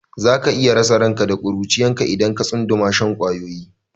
Za ka iya rasa ranka da ƙuruciyarka idan ka tsunduma shan ƙwayoyi.